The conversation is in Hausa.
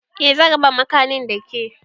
Eh zan raba makanin da ke